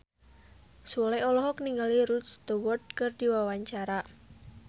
Sule olohok ningali Rod Stewart keur diwawancara